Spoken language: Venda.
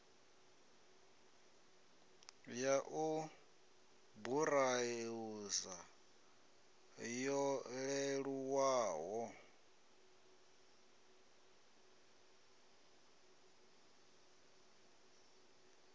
ya u burauza yo leluwaho